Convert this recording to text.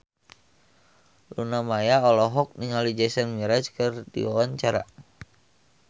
Luna Maya olohok ningali Jason Mraz keur diwawancara